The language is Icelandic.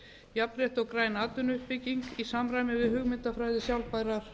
jafnrétti og græn atvinnuuppbygging í samræmi við hugmyndafræði sjálfbærrar